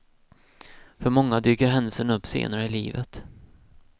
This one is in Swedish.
För många dyker händelsen upp senare i livet.